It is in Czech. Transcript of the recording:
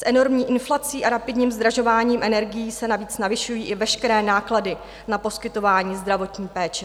S enormní inflací a rapidním zdražováním energií se navíc navyšují i veškeré náklady na poskytování zdravotní péče.